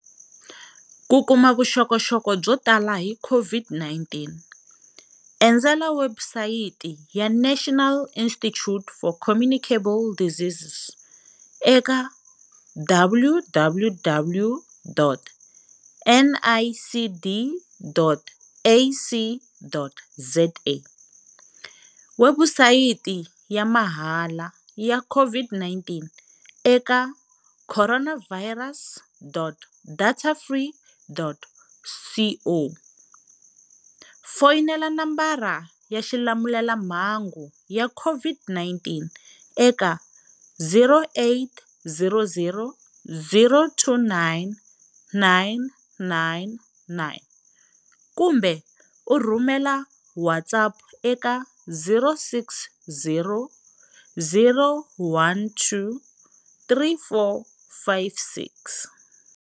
Ku kuma vuxokoxoko byo tala hi COVID-19, endzela webusayiti ya National Institute for Communicable Diseases eka www.nicd.ac.za, webusayiti ya mahala ya COVID-19 eka coronavirus.datafree.co, foyinela nomboro ya xilamulela mhangu ya COVID-19 eka 0800 029 999 kumbe u rhumela WhatsApp eka 0600 12 3456.